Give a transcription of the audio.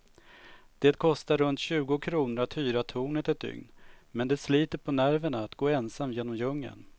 Det kostar runt tjugo kronor att hyra tornet ett dygn, men det sliter på nerverna att gå ensam genom djungeln.